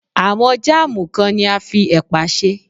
Àwọn Jáàmù kan ni a fi ẹ̀pà ṣe.